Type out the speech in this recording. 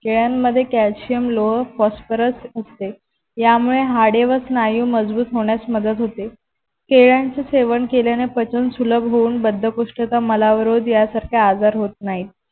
केळ्यांमद्धे calcium लोह phosporous असते यांमुळे हाडे व स्नायू मजबूत होण्यास मदत होते केळ्यांच सेवन केल्याने पचन सुलभ होऊन बद्धकोष्ठता मलावरोध या सारखे आजार होता नाहीत